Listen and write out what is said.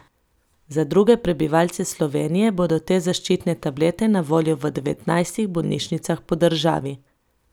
Za druge prebivalce Slovenije bodo te zaščitne tablete na voljo v devetnajstih bolnišnicah po državi.